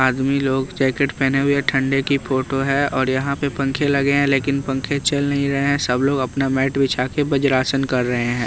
आदमी लोग जैकेट पहने हुए ठंडे की फोटो है और यहां पे पंखे लगे हैं लेकिन पंखे चल नहीं रहे हैं सब लोग अपना मैट बिछाकर ब्रज आसन कर रहे हैं।